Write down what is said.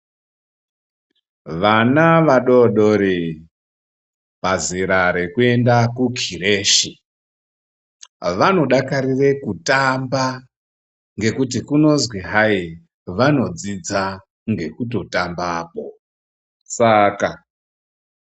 Vana vadodori, pazera rekuyenda ku khirechi, vanodakarire kutamba ngekuti kunozvi haye, vanodzodza ngekutotamba saka.